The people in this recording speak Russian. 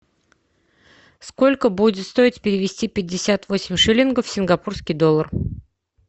сколько будет стоить перевести пятьдесят восемь шиллингов в сингапурский доллар